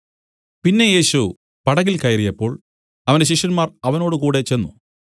പിന്നെ യേശു പടകിൽ കയറിയപ്പോൾ അവന്റെ ശിഷ്യന്മാർ അവനോട് കൂടെ ചെന്ന്